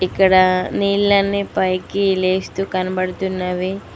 క్కడ నీలన్నీ పైకి లేస్తూ కనబడుతున్నవి.